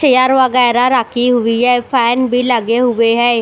Chair वगैरह रखी हुई है फैन भी लगे हुए है।